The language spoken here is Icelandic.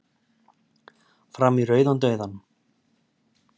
Fram í rauðan dauðann